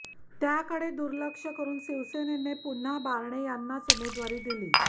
त्याकडे दुर्लक्ष करून शिवसेनेने पुन्हा बारणे यांनाच उमेदवारी दिली